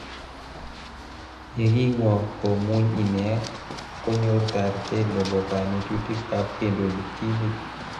Yekingwo komuny ine, konyor taratet nebo kanetutik ab kendoji timit.